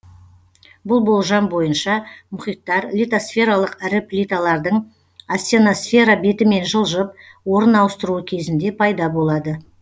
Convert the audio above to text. бұл болжам бойынша мұхиттар литосфералық ірі плиталардың астеносфера бетімен жылжып орын ауыстыруы кезінде пайда болады